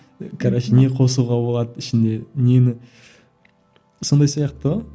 короче не қосуға болады ішіне нені сондай сияқты ғой